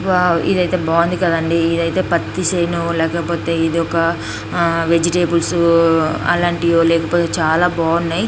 Wow ఇధైతే బాగుంది కదండీ ఇధైతే పత్తి షేను లేకపోతే ఇధోకా అ వెజిటేబుల్ అలాంటిదే లేకపోతే చాలా బాగున్నాయ్.